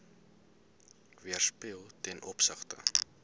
weerspieël ten opsigte